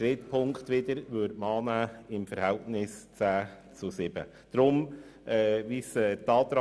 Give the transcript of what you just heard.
Die Ziffer 3 wiederum nimmt sie im Verhältnis von 10 zu 7 Stimmen an.